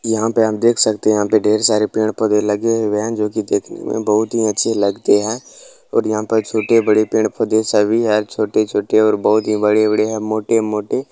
यहाँ पे आप देख सकते है यहां पे ढेर सारे पेड़-पौधे लगे हुए है जो कि देखने में बहुत ही अच्छे लगते है और यहां पे छोटे-बड़े पेड़-पौधे सभी हर छोटे-छोटे और बहुत ही बड़े-बड़े है मोटे-मोटे --